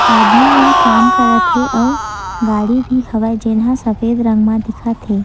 आदमी मन काम करत हे आऊ गाड़ी भी हवय जेन ह सफेद रंग म दिखत हे।